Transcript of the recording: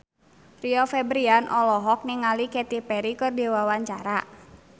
Rio Febrian olohok ningali Katy Perry keur diwawancara